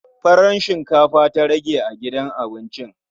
Farar shinkafa ta ƙare a gidan abincin.